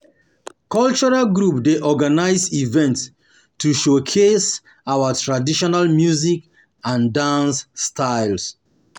Cultural group dey organize events to showcase our traditional music and dance styles. um